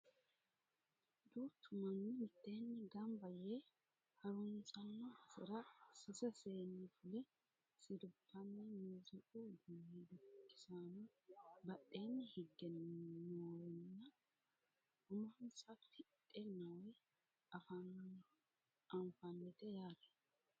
duuchu manni mitteeni ganba yee harunsanno basera sase seeni fule sirbanna muziiqu uduunni dukkisaano badheeni higge noorenna umonsa tidhe noore anfannite yaate